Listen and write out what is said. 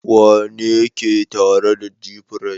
Wane ne ke tare da gfresh?